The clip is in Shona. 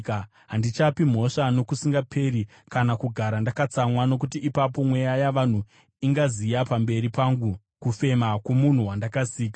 Handichapi mhosva nokusingaperi, kana kugara ndakatsamwa, nokuti ipapo mweya yavanhu ingaziya pamberi pangu, kufema kwomunhu wandakasika.